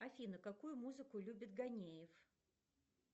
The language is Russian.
афина какую музыку любит ганеев